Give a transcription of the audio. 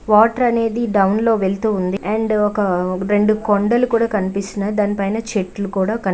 water అనేది down లో వెళుతూ ఉంది అండ్ ఒక రెండు కొండలు కూడా కనిపిస్తున్నాయి దానిపైన చెట్లు కూడా క--